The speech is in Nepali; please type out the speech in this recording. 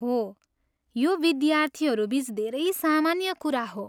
हो, यो विद्यार्थीहरू बिच धेरै सामान्य कुरा हो।